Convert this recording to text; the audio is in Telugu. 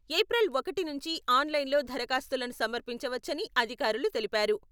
ఏప్రిల్ ఒకటి నుంచి ఆన్లైన్లో దరఖాస్తులను సమర్పించవచ్చని అధికారులు తెలిపారు.